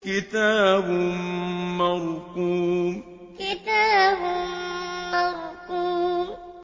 كِتَابٌ مَّرْقُومٌ كِتَابٌ مَّرْقُومٌ